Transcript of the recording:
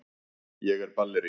Ég er ballerína.